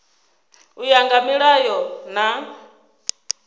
u ya nga milayo na